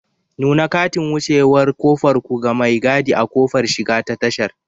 Nuna katin wucewar ƙofar ku ga mai gadi a ƙofar shiga ta tashar.